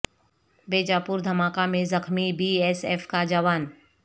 بیجاپور دھماکہ میں زخمی بی ایس ایف کا جوان